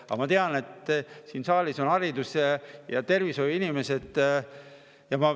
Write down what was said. Aga ma tean, et siin saalis on haridus- ja tervishoiu inimesed.